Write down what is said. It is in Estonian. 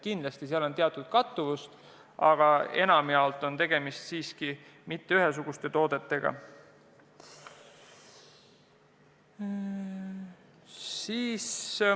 Kindlasti seal on teatud kattuvust, aga enamjaolt pole tegemist ühesuguste toodetega.